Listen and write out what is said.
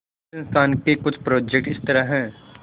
इस संस्थान के कुछ प्रोजेक्ट इस तरह हैंः